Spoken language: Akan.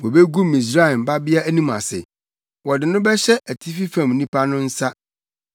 Wobegu Misraim Babea anim ase, wɔde no bɛhyɛ atifi fam nnipa no nsa.”